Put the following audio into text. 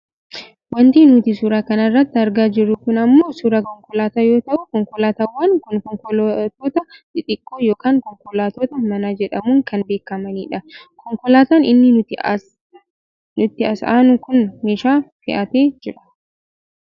Wanti nuti suura kana irratti argaa jirru kun ammoo suuraa konkolaataa yoo ta'u konkolaatawwan kun konkolaattota xixiqqoo yookaan konkolaattota manaa jedhamuun kan beekkamanidha. Konkolaataan inni nutti as aanu kun meeshaa fe'atee jira.